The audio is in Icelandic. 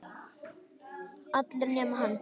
Allir nema hann.